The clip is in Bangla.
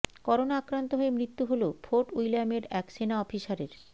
করোনা আক্রান্ত হয়ে মৃত্যু হল ফোর্ট উইলিয়ামের এক সেনা অফিসারের